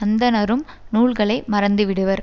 அந்தணரும் நூல்களை மறந்துவிடுவர்